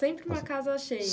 Sempre uma casa cheia.